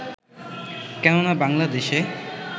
কেননা বাংলাদেশে